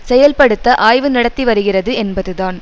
செயல்படுத்த ஆய்வு நடத்திவருகிறது என்பதுதான்